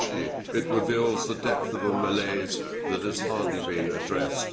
Actually it reveals the depth of a malaise that has hardly been addressed.